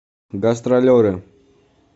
гастролеры